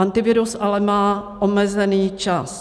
Antivirus ale má omezený čas.